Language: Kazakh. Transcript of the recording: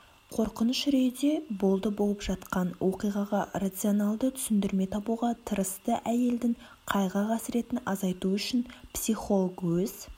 қорқыныш-үрейде болды болып жатқан оқиғаға рационалды түсіндірме табуға тырысты әйелдің қайғы-қасіретін азайту үшін психолог өз